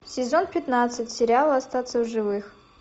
сезон пятнадцать сериал остаться в живых